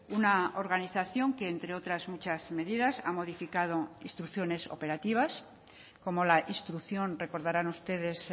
una organización que entre otras muchas medidas ha modificado instrucciones operativas como la instrucción recordarán ustedes